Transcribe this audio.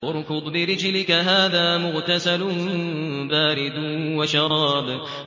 ارْكُضْ بِرِجْلِكَ ۖ هَٰذَا مُغْتَسَلٌ بَارِدٌ وَشَرَابٌ